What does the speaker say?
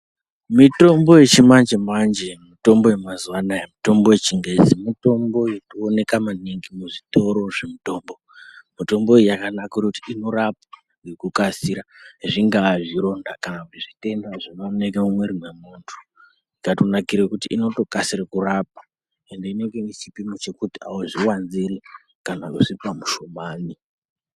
Mitombo yechimanje manje mitombo yamazwanaya mitombo yechingezi mitombo inoonekwa manhingi muzvitoro zvemitombo mitombo iyi yakanakira kuti inorapa ngekukasira zvingava zvironda kana zvitenda zvinoonekwe mumwiri womuntu yakanakira kuti inokasike kurapa ende inenge inechipimi chekuti hauzviwanzire kana kuzvipa muhlumane